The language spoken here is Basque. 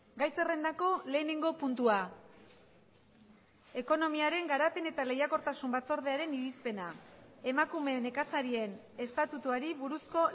gai zerrendako lehenengo puntua ekonomiaren garapen eta lehiakortasun batzordearen irizpena emakume nekazarien estatutuari buruzko